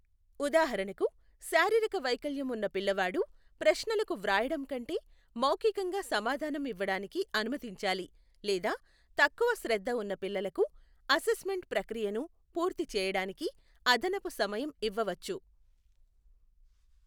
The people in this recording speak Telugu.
ఉదాహరణకు శారీరక వైకల్యం ఉన్న పిల్లవాడు ప్రశ్నలకు వ్రాయడం కంటే మౌఖికంగా సమాధానం ఇవ్వడానికి అనుమతించాలి లేదా తక్కువ శ్రద్ధ ఉన్న పిల్లలకు అసెస్ మెంట్ ప్రక్రియను పూర్తి చేయడానికి అదనపు సమయం ఇవ్వవచ్చు.